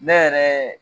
Ne yɛrɛ